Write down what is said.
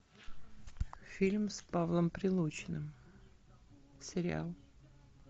фильм с павлом прилучным сериал